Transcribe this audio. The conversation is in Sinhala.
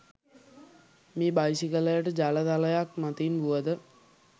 මේ බයිසිකලයට ජල තලයක් මතින් වුවද